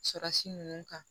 Dusukasi ninnu kan